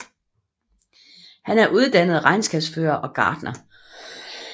Han er uddannet regnskabsfører og gartner